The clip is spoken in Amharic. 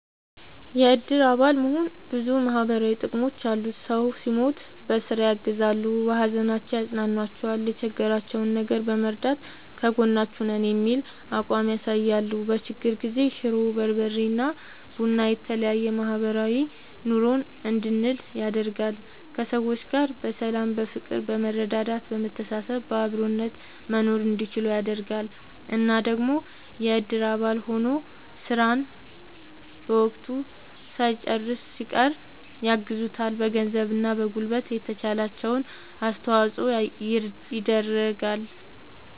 የእድር አባል መሆን ብዙ ማህበራዊ ጥቅሞች አሉት ሰው ሲሞት በስራ ያግዛሉ። በሀዘናቸው ያፅኗኗቸዋል የቸገራቸውን ነገር በመርዳት ከጎናችሁ ነን የሚል አቋም ያሳያሉ። በችግር ጊዜ ሽሮ፣ በርበሬ እና ቡና የተለያዬ ማህበራዊ ኑሮን እንድንል ያደርጋል። ከሰዎች ጋር በሰላም በፍቅር በመረዳዳት በመተሳሰብ በአብሮነት መኖርእንዲችሉ ያደርጋል። እና ደግሞ የእድር አባል ሆኖ ስራን በወቅቱ ሳይጨርስ ሲቀር ያግዙታል በገንዘብ እና በጉልበት የተቻላቸውን አስተዋፅዖ ይደረጋል።